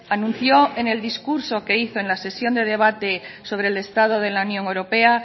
anunció en el discurso que hizo en la sección de debate sobre el estado de la unión europea